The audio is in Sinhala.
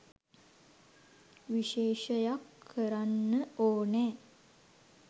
විශේෂයක් කරන්න ඕනේ.